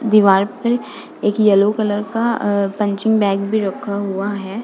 दीवार पर एक येलो कलर का अ पंचिंग बैग भी रखा हुआ है।